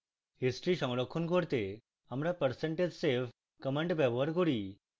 history সংরক্ষণ করতে আমরা percentage save command ব্যবহার করি